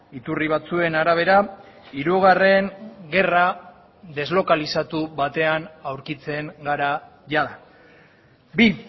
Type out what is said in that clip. iturri batzuen arabera hirugarren gerra deslokalizatu batean aurkitzen gara jada bi